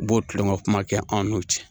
B'o tulonkɛw kuma kɛ anw n'u cɛ